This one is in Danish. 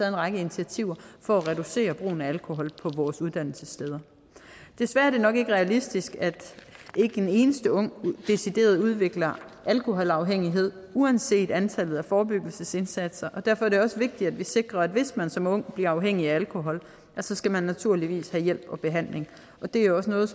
en række initiativer for at reducere brugen af alkohol på vores uddannelsessteder desværre er det nok ikke realistisk at ikke en eneste ung decideret udvikler alkoholafhængighed uanset antallet af forebyggelsesindsatser og derfor er det også vigtigt at vi sikrer at hvis man som ung bliver afhængig af alkohol så skal man naturligvis have hjælp og behandling det er også noget